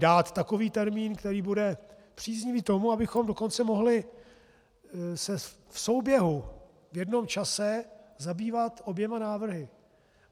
Dát takový termín, který bude příznivý tomu, abychom dokonce mohli se v souběhu v jednom čase zabývat oběma návrhy.